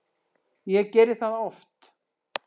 Ég geri það oft